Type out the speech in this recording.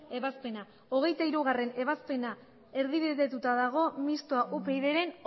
ebazpena hogeita hirugarrena ebazpena erdibidetuta dago mistoa upydren